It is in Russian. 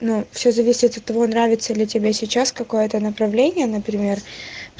все зависит от того нравится ли тебе сейчас какое это направление например